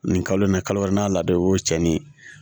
Nin kalo in na kalo nan'a ladon o cɛnnin